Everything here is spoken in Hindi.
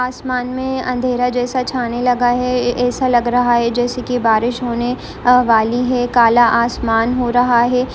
आसमान मे अंधेरा जैसा छाने लगा है ऐसा लग रहा है जैसे कि बारिश होने वाली है काला आसमान हो रहा है।